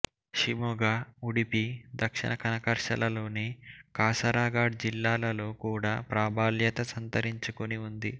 షిమోగా ఉడిపి దక్షిణ కనర క్శ్రళ లోని కాసరగాడ్ జిల్లాలలో కూడా ప్రాబల్యత సంతరించుకుని ఉంది